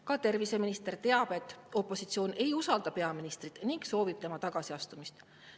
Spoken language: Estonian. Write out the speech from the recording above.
Ka terviseminister teab, et opositsioon ei usalda peaministrit ning soovib tema tagasiastumist.